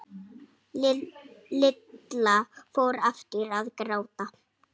Lilla fór aftur að gráta.